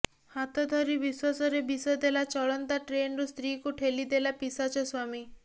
ହାତ ଧରି ବିଶ୍ୱାସରେ ବିଷ ଦେଲା ଚଳନ୍ତା ଟ୍ରେନରୁ ସ୍ତ୍ରୀକୁ ଠେଲିଦେଲା ପିଶାଚ ସ୍ୱାମୀ